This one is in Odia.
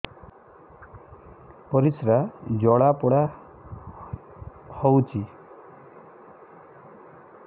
ପରିସ୍ରା ଜଳାପୋଡା ହଉଛି